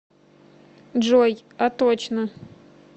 джой а точно